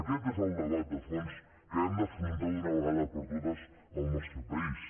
aquest és el debat de fons que hem d’afrontar d’una vegada per totes al nostre país